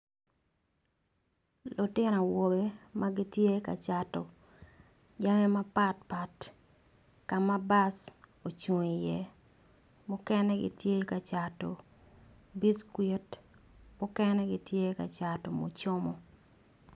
Lutino awobe magitye ka cato jami mapatpat kama bus ocung iye mukene gitye kacoto biscuit mukene gitye kacato mucomo.